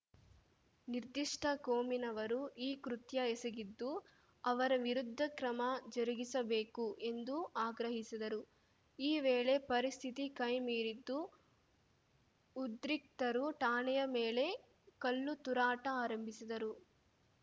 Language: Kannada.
ನಿರ್ದಿಷ್ಟಕೋಮಿನವರು ಈ ಕೃತ್ಯ ಎಸಗಿದ್ದು ಅವರ ವಿರುದ್ಧ ಕ್ರಮ ಜರುಗಿಸಬೇಕು ಎಂದು ಆಗ್ರಹಿಸಿದರು ಈ ವೇಳೆ ಪರಿಸ್ಥಿತಿ ಕೈಮೀರಿದ್ದು ಉದ್ರಿಕ್ತರು ಠಾಣೆಯ ಮೇಲೆ ಕಲ್ಲುತೂರಾಟ ಆರಂಭಿಸಿದರು